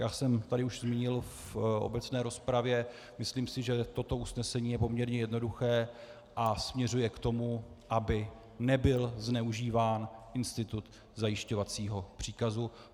Jak jsem tady už zmínil v obecné rozpravě, myslím si, že toto usnesení je poměrně jednoduché a směřuje k tomu, aby nebyl zneužíván institut zajišťovacího příkazu.